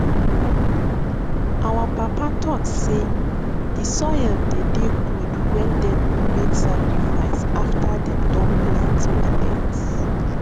our papa talk sey de soil dey dey good wen dem make sacrifice after dem Accepted plant millet